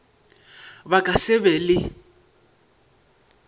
ba ka se be le